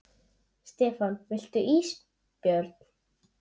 Stefán: Viltu ís Björn?